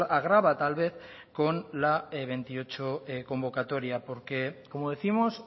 agrava tal vez con la veintiocho convocatoria porque como décimos